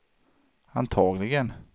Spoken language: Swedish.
antagligen